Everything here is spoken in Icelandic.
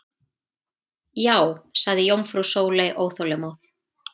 Já sagði jómfrú Sóley óþolinmóð.